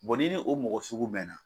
n'i ni o mɔgɔ sugu bɛnna